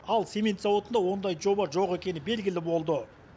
ал цемент зауытында ондай жоба жоқ екені белгілі болды